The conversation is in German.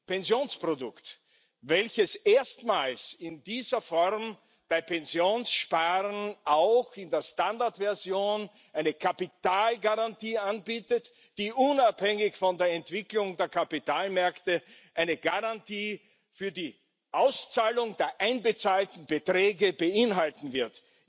Pensionsprodukt, welches erstmals in dieser Form beim Pensionssparen auch in der Standardversion eine Kapitalgarantie anbietet, die unabhängig von der Entwicklung der Kapitalmärkte eine Garantie für die Auszahlung der eingezahlten Beträge beinhalten wird.